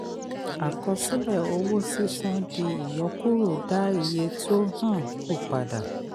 àkọsílẹ̀ owó sísan di ìyọkúrò dá iye tó um kú padà.